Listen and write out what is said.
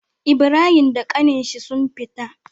Ibrahim da ƙanin shi sun fita